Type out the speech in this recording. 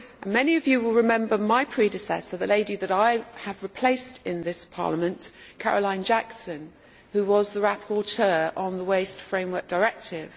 Many of you will remember my predecessor, the lady that I replaced in this Parliament Caroline Jackson who was the rapporteur on the Waste Framework Directive.